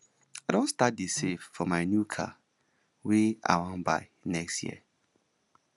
i don start dey save for my new car wey i wan buy next year